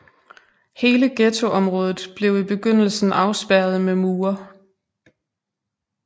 Hele ghettoområdet blev i begyndelsen afspærret med mure